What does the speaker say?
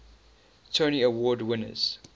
tony award winners